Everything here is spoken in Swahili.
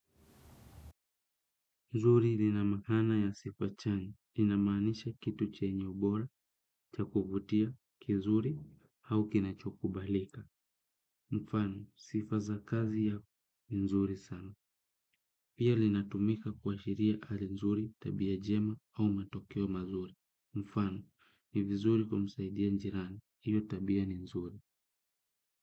Nzuri lina maana yasipo chanya inamaanisha kitu chenye ubora cha kuvutia kizuri au kinachokubalika. Mfano, sifa za kazi ya nzuri sana. Pia linatumika kuashiria hali nzuri tabia njema au matokeo mazuri. Mfano, ni vizuri kumsaidia njirani, hiyo tabia ni nzuri.